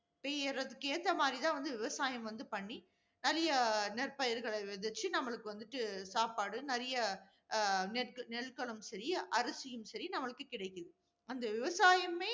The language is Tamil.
பெய்யறதற்கு ஏத்தா மாதிரி தான் வந்து விவசாயம் வந்து பண்ணி, நிறைய நெற்பயிர்களை விதைச்சி நம்மளுக்கு வந்துட்டு சாப்பாடு, நிறைய அஹ் நெல்~ நெற்களும் சரி, அரிசியும் சரி, நமக்கு கிடைக்குது. அந்த விவசாயமே